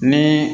Ni